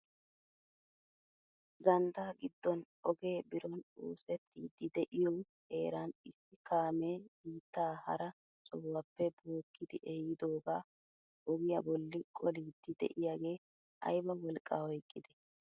Ganddaa giddon ogee biron oosettiidi de'iyoo heeran issi kaamee biittaa hara sohuwaappe bookkidi ehiidogaa ogiyaa bolli qoliidi de'iyaagee ayba wolqqaa oyqqidee!